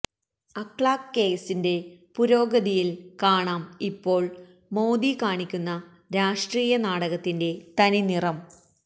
അക്ലാഖ് കേസിന്റെ പുരോഗതിയില് കാണാം ഇപ്പോള് മോദി കാണിക്കുന്ന രാഷ്ട്രീയ നാടകത്തിന്റെ തനിനിറം